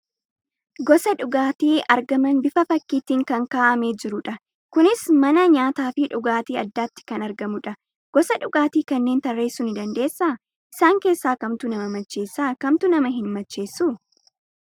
Gosa dhugaatii argaman bifa fakkiitiin kan kaa'amee jiru dha. Kunis mana nyaataa fi dhugaatii addaatti kan argamudha. Gosa dhugaatii kanneen tarreessuu ni dandeessaa? Isaan keessaa kamtu nama macheessa? Kamtu nama hin macheessu?